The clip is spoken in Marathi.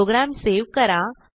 प्रोग्रॅम सेव्ह करा